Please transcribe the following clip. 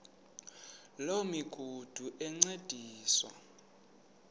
loo migudu encediswa